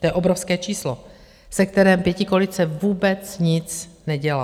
To je obrovské číslo, se kterým pětikoalice vůbec nic nedělá.